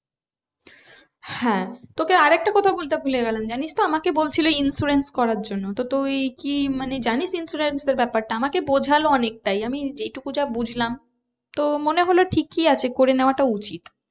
হ্যাঁ তোকে আর একটা কথা বলতে ভুলে গেলাম জানিস তো আমাকে বলছিলো insurance করার জন্য তো তুই কি জানিস insurance এর ব্যাপারটা আমাকে বোঝালো অনেকটাই আমি যেই টুকু যা বুঝলাম তো মনে হলো ঠিকই আছে করে নেওয়াটা উচিৎ